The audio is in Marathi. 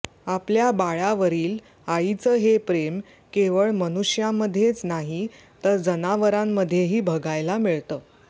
आपल्या बाळावरील आईचं हे प्रेम केवळ मनुष्यांमध्येच नाहीतर जनावरांमध्येही बघायला मिळतं